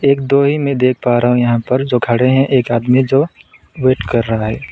एक दोहे में देख पा रहा हूं यहां पर जो खड़े हैं एक आदमी जो वेट कर रहा है।